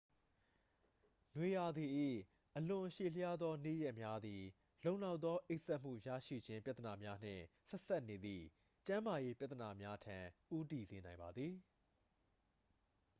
နွေရာသီ၏ အလွန်ရှည်လျားသောနေ့ရက်များသည် လုံလောက်သောအိပ်စက်မှုရရှိခြင်းပြဿနာများနှင့် ဆက်စပ်နေသည့်ကျန်းမာရေးပြဿနာများထံ ဦးတည်စေနိုင်ပါသည်